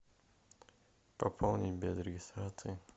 пополнить без регистрации